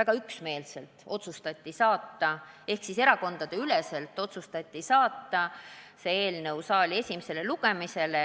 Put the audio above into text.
väga üksmeelselt ehk siis erakondadeüleselt saata see eelnõu saali esimesele lugemisele.